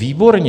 Výborně.